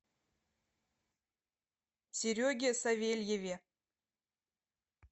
сереге савельеве